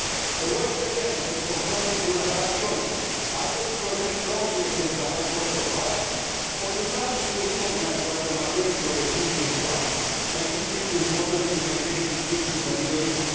The West was again confronted with a hard choice either to protest strongly against the high cost of violence or to tacitly recognise what the majority of Egyptians wanted and Egypt's importance in maintaining peace in the Middle East.